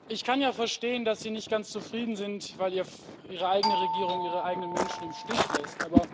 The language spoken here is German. Ich kann ja verstehen, dass Sie nicht ganz zufrieden sind, weil Ihre eigene Regierung ihre eigenen Menschen im Stich lässt.